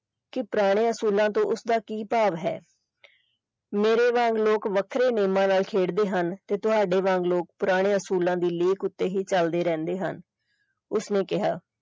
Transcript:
ਕਿ ਪੁਰਾਣੇ ਅਸੂਲਾਂ ਤੋਂ ਉਸਦਾ ਕੀ ਭਾਵ ਹੈ ਮੇਰੇ ਵਾਂਗ ਲੋਕ ਵੱਖਰੇ ਨਿਯਮਾਂ ਨਾਲ ਖੇਡ ਦੇ ਹਨ ਤੇ ਤੁਹਾਡੇ ਵਾਂਗ ਲੋਕ ਪੁਰਾਣੇ ਅਸੂਲਾਂ ਦੀ ਲੀਕ ਉੱਤੇ ਹੀ ਚਲਦੇ ਰਹਿੰਦੇ ਹਨ ਉਸਨੇ ਕਿਹਾ।